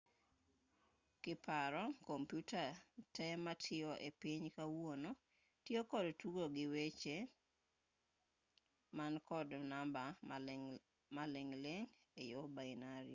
kiparo kompyuta te matiyo epiny makawuono tiyo kod tugo gi weche man kod namba maling'ling' eyor bainari